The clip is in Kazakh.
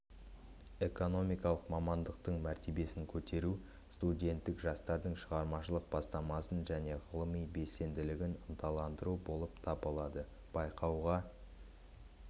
экономикалық мамандықтың мәртебесін көтеру студенттік жастардың шығармашылық бастамасын және ғылыми белсенділігін ынталандыру болып табылады байқауға